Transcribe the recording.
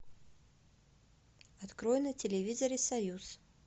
открой на телевизоре союз